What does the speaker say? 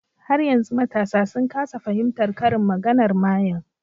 Har yanzu matasa sun kasa fahimtar karin maganar mayen